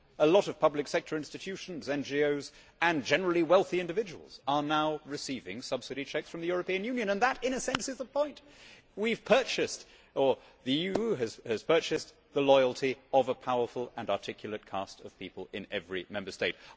A lot of public sector institutions, NGOs and generally wealthy individuals are now receiving subsidy cheques from the European Union, and that, in a sense, is the point we have purchased or the EU has purchased the loyalty of a powerful and articulate caste of people in every Member State.